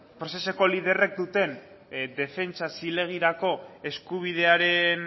proceseko liderrek duten defentsa zilegirako eskubidearen